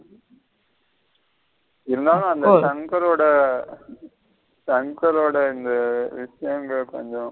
இருந்தாலு அந்த சங்கரோட சங்கரோட இந்த விசியங்கள் கொஞ்சம்.